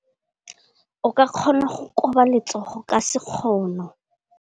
O ka kgona go koba letsogo ka sekgono.